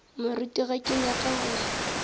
moruti ge ke nyaka go